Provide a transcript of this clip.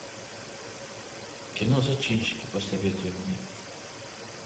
кино зачинщики посоветуй мне